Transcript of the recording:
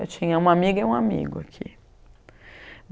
Eu tinha uma amiga e um amigo aqui.